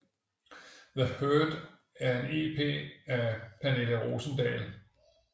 The Hurt er en EP af Pernille Rosendahl